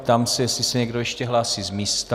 Ptám se, jestli se někdo ještě hlásí z místa.